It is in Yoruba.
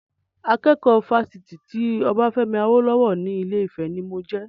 Akẹ́kọ̀ọ́ Fásitì ti Obafemi Awolowo ni Ilé-Ifè ni mo jẹ.